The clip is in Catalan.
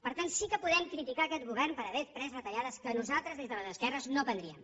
per tant sí que podem criticar aquest govern per haver pres retallades que nosaltres des de les esquerres no prendríem